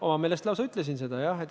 Oma meelest lausa ütlesin seda, jah.